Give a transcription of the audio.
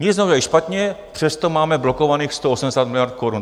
Nic neudělali špatně, přesto máme blokovaných 180 miliard korun.